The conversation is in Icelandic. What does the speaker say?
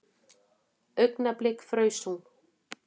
Augnablik fraus hún.